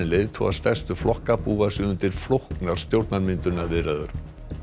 leiðtogar stærstu flokka búa sig undir flóknar stjórnarmyndunarviðræður